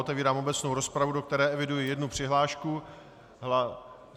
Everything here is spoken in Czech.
Otevírám obecnou rozpravu, do které eviduji jednu přihlášku.